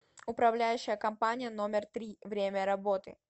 управляющая компания номер три время работы